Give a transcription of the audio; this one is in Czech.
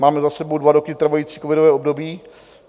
Máme za sebou dva roky trvající covidové období.